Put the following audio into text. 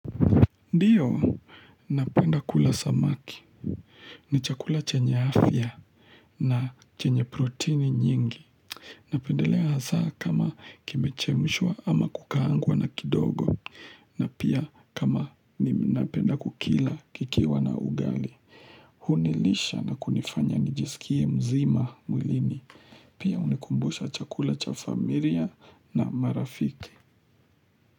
Ndiyo, napenda kula samaki, ni chakula chenye hafya na chenye protini nyingi. Napendelea hasaa kama kimechemishwa ama kukaangwa na kidogo, na pia kama ninapenda kukila kikiwa na ugali. Hunilisha na kunifanya nijisikie mzima mwilini, pia hunikumbusha chakula cha familia na marafiki.